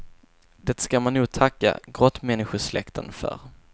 Det ska man nog tacka grottmänniskosläkten för.